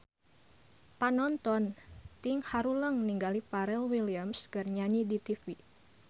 Panonton ting haruleng ningali Pharrell Williams keur nyanyi di tipi